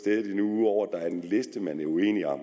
er uenige når